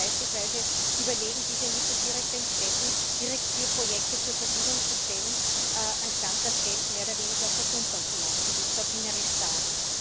Warum nicht beispielsweise überlegen, diese Mittel direkt den Städten, direkt für Projekte zur Verfügung zu stellen, anstatt das Geld mehr oder weniger versumpern zu lassen, wie ich es auf wienerisch sage?